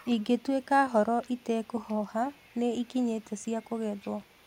Ingĩtuĩka horo itekũhoha nĩikinyĩte cia kugethwo